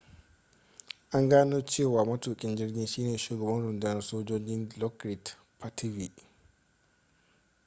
an gano cewa matukin jirgin shine shugaban rundunar sojoji dilokrit pattavee